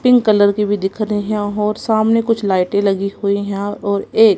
pink colour की भी दिख रहे हैं और सामने कुछ लाइटें लगी हुईं हैं और एक--